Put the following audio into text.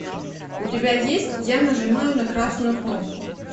у тебя есть я нажимаю на красную кнопку